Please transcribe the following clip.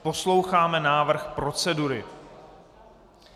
Posloucháme návrh procedury.